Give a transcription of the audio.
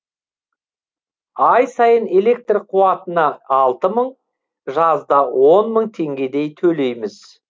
ай сайын электр қуатына алты мың жазда он мың теңгедей төлейміз